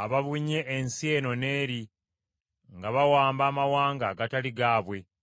ababunye ensi eno n’eri nga bawamba amawanga agatali gaabwe.